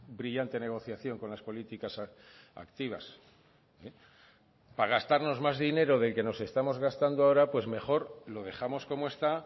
brillante negociación con las políticas activas para gastarnos más dinero del que nos estamos gastando ahora pues mejor lo dejamos como está